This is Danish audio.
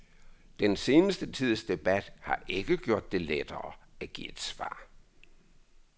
Den seneste tids debat har ikke gjort det lettere at give et svar.